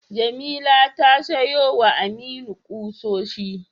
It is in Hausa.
Jamila ta siyowa Aminu kusoshi.